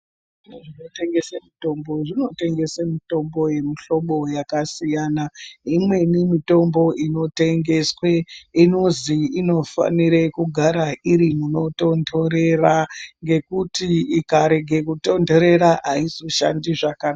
Zviro zvinotengese mutombo zvinotengese mutombo yemuhlobo yakasiyana. Imweni mutombo inotengeswe inozi inofanire kugara iri munotontorera ngekuti ikarege kutontorera aizoshandi zvaka...